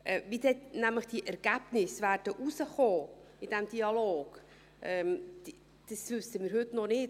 Wie diese Ergebnisse nämlich dann herauskommen werden, in diesem Dialog, das wissen wir heute nicht.